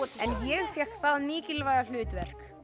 en ég fékk það mikilvæga hlutverk